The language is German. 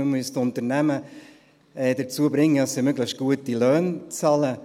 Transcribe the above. Man müsste die Unternehmen dazu bringen, dass sie möglichst gute Löhne zahlen.